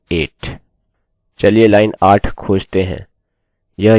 चलिए लाइन 8 खोजते हैं यह यहाँ है इसके पहले की लाइन समस्या का कारण है